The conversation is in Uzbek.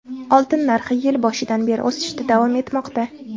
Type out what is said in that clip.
Oltin narxi yil boshidan beri o‘sishda davom etmoqda.